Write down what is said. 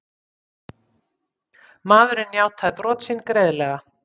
Maðurinn játaði brot sín greiðlega